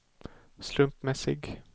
slumpmässig